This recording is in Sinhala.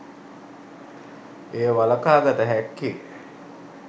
එය වළකා ගත හැක්කේ